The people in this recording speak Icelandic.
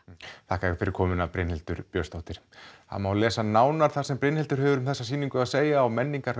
þakka þér fyrir komuna Brynhildur það má lesa nánar um það sem Brynhildur hefur um sýninguna að segja á